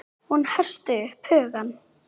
Hún herti upp hugann.